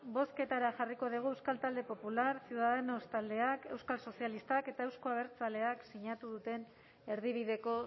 bozketara jarriko dugu euskal talde popular ciudadanos taldeak euskal sozialistak eta euzko abertzaleek sinatu duten erdibideko